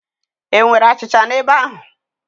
E nwere achịcha n'ebe ahụ?